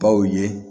Baw ye